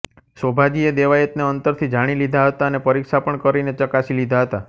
શોભાજીએ દેવાયતને અંતરથી જાણી લીધા હતા અને પરીક્ષા પણ કરીને ચકાસી લીધા હતા